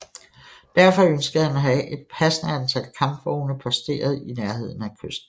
Derfor ønskede han at have et passende antal kampvogne posteret i nærheden af kysten